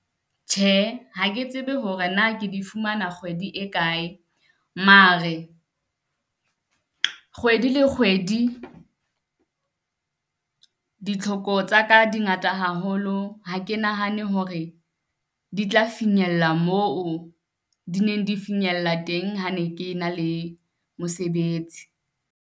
Tjhe, ha ke tsebe hore na ke di fumana kgwedi e kae mare kgwedi le kgwedi, ditlhoko tsaka di ngata haholo. Ha ke nahane hore di tla finyella moo di neng di finyella teng ha ne ke na le mosebetsi.